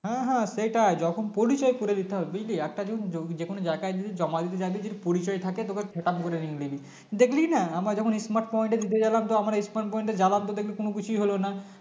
হ্যাঁ হ্যাঁ সেটাই যখন পরিচয় করে নিতে হবে একটা যদি যেকোনো জায়গায় যদি জমা দিতে যাবি যদি পরিচয় থাকে তোকে দেখলিনা আমরা যখন Smart point এ দিতে গেলাম তো আমরা smart point এ গেলাম তো কোনো কিছুই হলো না